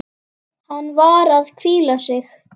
Hann var að hvíla sig.